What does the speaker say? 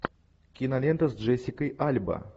кинолента с джессикой альба